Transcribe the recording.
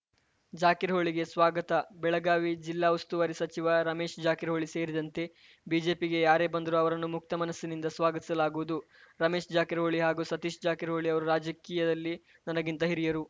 ಜಾಕಿರ ಹೊಳಿಗೆ ಸ್ವಾಗತ ಬೆಳಗಾವಿ ಜಿಲ್ಲಾ ಉಸ್ತುವಾರಿ ಸಚಿವ ರಮೇಶ್‌ ಜಾಕಿರಹೊಳಿ ಸೇರಿದಂತೆ ಬಿಜೆಪಿಗೆ ಯಾರೇ ಬಂದರೂ ಅವರನ್ನು ಮುಕ್ತ ಮನಸ್ಸಿನಿಂದ ಸ್ವಾಗತಿಸಲಾಗುವುದು ರಮೇಶ್‌ ಜಾಕಿರಹೊಳಿ ಹಾಗೂ ಸತೀಶ್‌ ಜಾಕಿರಹೊಳಿ ಅವರು ರಾಜಕೀಯದಲ್ಲಿ ನನಗಿಂತ ಹಿರಿಯರು